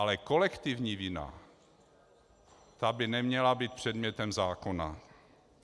Ale kolektivní vina, ta by neměla být předmětem zákona.